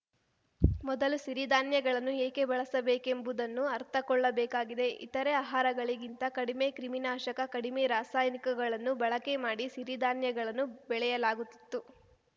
ಮೊದಲು ಸಿರಿಧಾನ್ಯಗಳನ್ನು ಏಕೆ ಬಳಸಬೇಕೆಂಬುದನ್ನು ಅರ್ಥಕೊಳ್ಳಬೇಕಾಗಿದೆ ಇತರೆ ಆಹಾರಗಳಿಗಿಂತ ಕಡಿಮೆ ಕ್ರಿಮಿನಾಶಕ ಕಡಿಮೆ ರಾಸಾಯನಿಕಗಳನ್ನು ಬಳಕೆ ಮಾಡಿ ಸಿರಿಧಾನ್ಯಗಳನ್ನು ಬೆಳೆಯಲಾಗುತ್ತಿತ್ತು